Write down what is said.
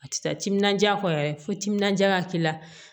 A tɛ taa timinandiya kɔ yɛrɛ fo timinandiya ka k'i la